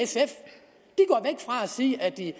sige at de